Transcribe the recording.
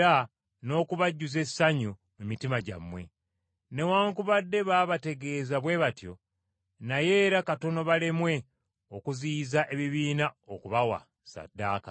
Newaakubadde baabategeeza bwe batyo, naye era katono balemwe okuziyiza ebibiina okubawa ssaddaaka.